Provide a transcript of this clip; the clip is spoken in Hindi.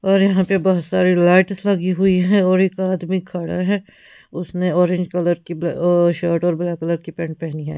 और यहां पे बहुत सारी लाइट्स लगी हुई है और एक आदमी खड़ा है उसने ऑरेंज कलर की शर्ट और ब्लैक कलर की पेंट पहनी है--